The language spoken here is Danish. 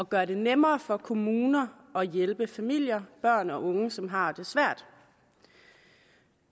gøre det nemmere for kommuner at hjælpe familier børn og unge som har det svært